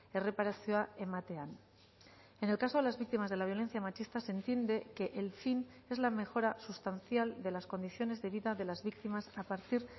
erreparazioa ematean en el caso de las víctimas de la violencia machista se entiende que el fin es la mejora sustancial de las condiciones de vida de las víctimas a partir